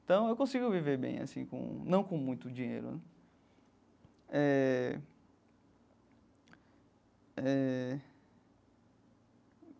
Então, eu consigo viver bem assim com, não com muito dinheiro eh eh.